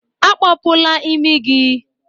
Akpọpula imi gị!